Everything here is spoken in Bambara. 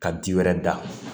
Ka di wɛrɛ da